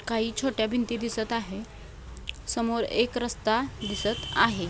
काही छोट्या भिंती दिसत आहे. समोर एक रस्ता दिसत आहे.